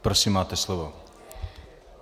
Prosím, máte slovo.